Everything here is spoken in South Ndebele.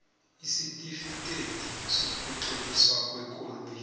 isitifikhethi sokutloliswa kwekoloyi